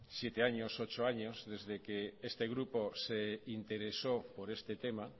siete ocho años desde que este grupo se interesó por este tema